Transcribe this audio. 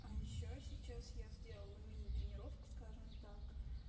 а ещё сейчас я сделала мини тренировку скажем так